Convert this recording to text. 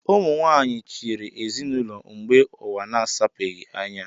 Ụmụ nwaanyị chịrị ezinaụlọ mgbe ụwa na-asapebeghị anya